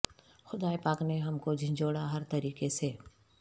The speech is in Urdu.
خدائے پاک نے ہم کو جھنجھوڑا ہر طریقے سے